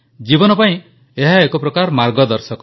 ଜୀବନ ପାଇଁ ଏହା ଏକ ପ୍ରକାର ମାର୍ଗଦର୍ଶକ